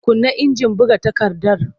Kunna injin buga takardar!